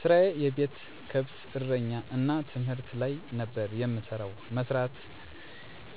ስራየ የቤተሰብ ከብት እረኛ እና ትምህርት ላይ ነበር የምሰራው። መስራት